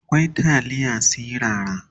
akwai taliya sirara